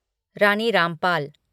Rani Rampal